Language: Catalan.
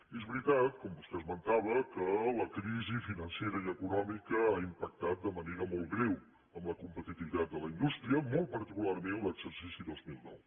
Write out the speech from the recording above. i és veritat com vostè esmentava que la crisi financera i econòmica ha impactat de manera molt greu en la competitivitat de la indústria molt particularment en l’exercici dos mil nou